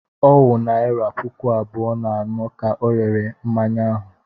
Ọ wụ naịra puku abụọ na anọ ka ọ rere mmanya ahụ.